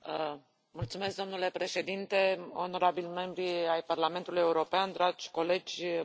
Domnule președinte, onorabili membri ai Parlamentului European, dragi colegi, bună seara.